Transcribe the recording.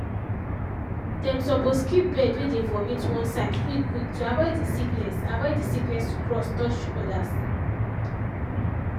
dem suppose keep bird way dey vomit one side quick quick to avoid the sickness avoid the sickness to cross touch others.